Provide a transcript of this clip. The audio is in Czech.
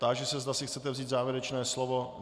Táži se, zda si chcete vzít závěrečné slovo.